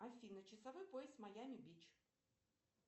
афина часовой пояс майами бич